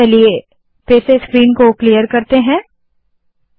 मैं फिर से स्क्रीन साफ करती हूँ